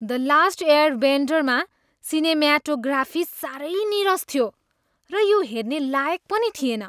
"The last airbender" मा cinematography सारै नीरस थियो र यो हेर्ने लायक पनि थिएन।